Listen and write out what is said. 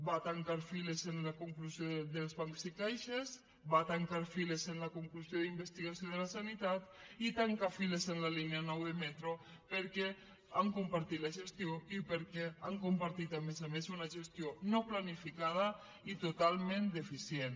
va tancar files en la conclusió dels bancs i caixes va tancar files en la conclusió d’investigació de la sanitat i tanca files en la línia nou de metro perquè han compartit la gestió i perquè han compartit a més a més una gestió no planificada i totalment deficient